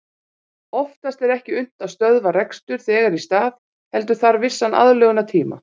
Oftast er ekki unnt að stöðva rekstur þegar í stað heldur þarf vissan aðlögunartíma.